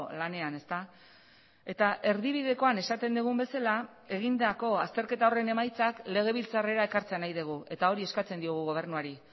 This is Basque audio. lanean eta erdibidekoan esaten dugun bezala egindako azterketa horren emaitzak legebiltzarrera ekartzea nahi dugu eta hori eskatzen diogu gobernuari